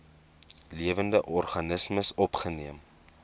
lewende organismes opgeneem